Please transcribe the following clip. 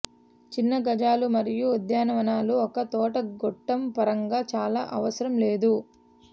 చిన్న గజాలు మరియు ఉద్యానవనాలు ఒక తోట గొట్టం పరంగా చాలా అవసరం లేదు